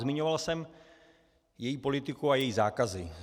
Zmiňoval jsem její politiku a její zákazy.